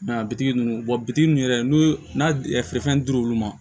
Mɛ a bi ninnu bitigi ninnu yɛrɛ n'u fɛnfɛn dir'u ma